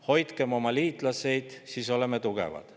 Hoidkem oma liitlasi, siis oleme tugevad.